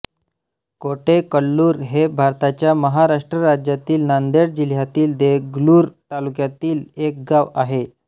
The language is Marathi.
कोटेकल्लुर हे भारताच्या महाराष्ट्र राज्यातील नांदेड जिल्ह्यातील देगलूर तालुक्यातील एक गाव आहे